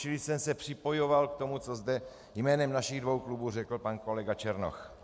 Čili jsem se připojoval k tomu, co zde jménem našich dvou klubů řekl pan kolega Černoch.